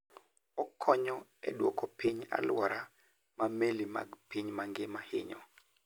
Okonyo e duoko piny alwora ma meli mag piny mangima hinyo.